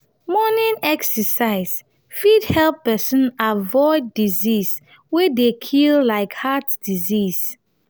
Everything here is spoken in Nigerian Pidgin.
morning exercise fit help person avoid disease wey dey kill like heart disease